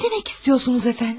Nə demək istəyirsiniz əfəndim?